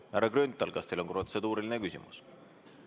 Härra Grünthal, kas teil on protseduuriline küsimus?